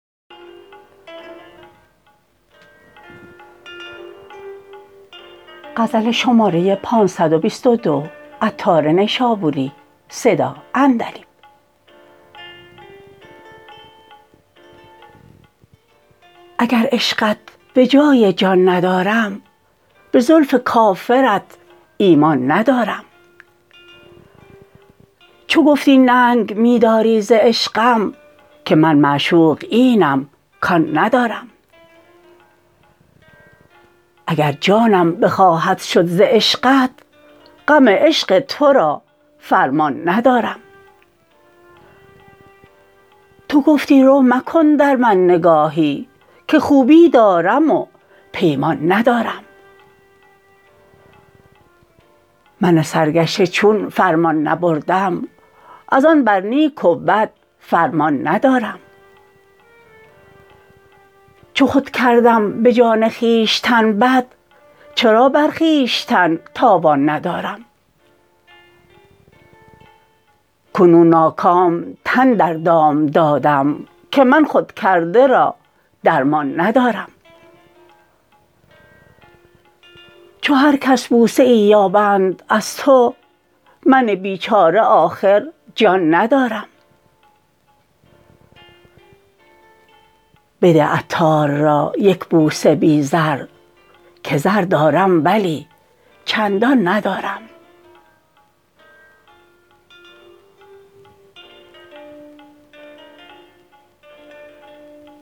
اگر عشقت به جای جان ندارم به زلف کافرت ایمان ندارم چو گفتی ننگ می داری ز عشقم که من معشوق اینم کان ندارم اگر جانم بخواهد شد ز عشقت غم عشق تورا فرمان ندارم تو گفتی رو مکن در من نگاهی که خوبی دارم و پیمان ندارم من سرگشته چون فرمان نبردم از آن بر نیک و بد فرمان ندارم چو خود کردم به جان خویشتن بد چرا بر خویشتن تاوان ندارم کنون ناکام تن در دام دادم که من خود کرده را درمان ندارم چو هرکس بوسه ای یابند از تو من بیچاره آخر جان ندارم بده عطار را یک بوسه بی زر که زر دارم ولی چندان ندارم